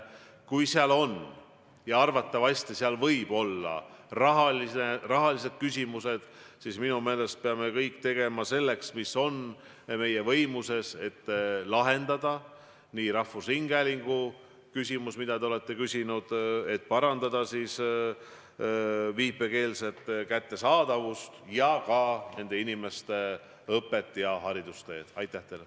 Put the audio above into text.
Kui seal on – ja arvatavasti on – rahaküsimused, siis minu meelest me peame tegema kõik, mis meie võimuses, et lahendada rahvusringhäälingu küsimus, mille kohta te olete märkinud, et tuleks parandada viipekeelse tõlkega saadete kättesaadavust, ja ka küsimus, mis puudutab viipekeeletõlkide õpet.